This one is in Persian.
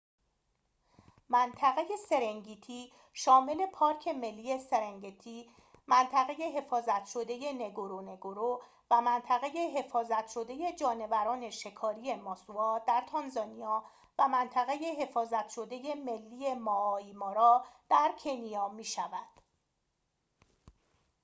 منطقه سرنگتی شامل پارک ملی سرنگتی منطقه حفاظت شده نگورونگورو و منطقه حفاظت شده جانوران شکاری ماسوا در تانزانیا و منطقه حفاظت شده ملی مائایی مارا در کنیا می‌شود